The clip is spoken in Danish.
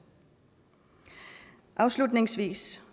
afslutningsvis